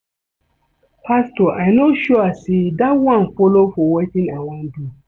Pastor I no sure say dat one follow for wetin I wan do